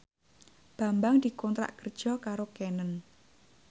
Bambang dikontrak kerja karo Canon